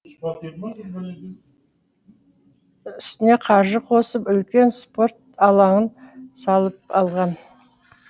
үстіне қаржы қосып үлкен спорт алаңын салып алған